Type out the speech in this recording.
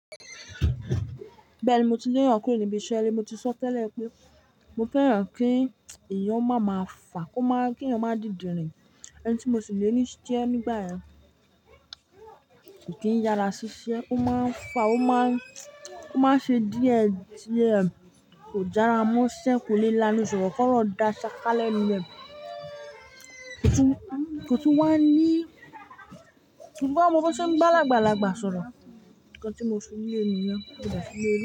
Bẹ́ẹ̀ni, mo ti l'eyan kúrò níbi iṣẹ́ rẹ, mo ti sọ tẹ́lẹ̀ pé mo fẹ́ràn kí iyán má máa fà, kó má, kí iyán má dídìnrín, ẹni tí mo sì lè ní í jẹ nígbà yẹn kì í yara ṣiṣẹ́, ó máa ń fà, ó máa ń, ó máa ń ṣe díẹ̀ díẹ̀, kò jára mọ́ṣẹ́, kò le lánu, ṣùgbọ́n fọ́rọ̀ dá ṣaka lẹ́nu rẹ̀, kò tún wáa ń ní, kò tún mọ bí wọ́n tún máa ń bá àgbàlagbà sọ̀rọ̀, ǹkan tí mo fi lè nìyẹn mọ́ de sì lé.